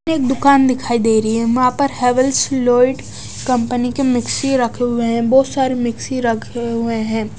एक दुकान दिखाई दे रही है वहां पर हैवेल्स लाइड कंपनी के मिक्सी रखे हुए हैं बोहोत सारे मिक्सी रखे हुए हैं।